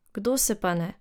Kdo se pa ne.